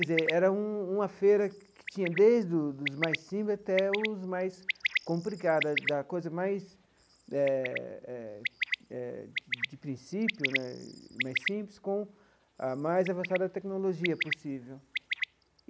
Quer dizer era um uma feira que tinha desde os dos mais simples até os mais complicados, da coisa mais eh eh eh de princípio né, mais simples, com a mais avançada tecnologia possível.